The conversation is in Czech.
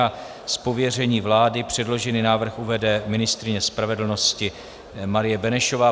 Z pověření vlády předložený návrh uvede ministryně spravedlnosti Marie Benešová.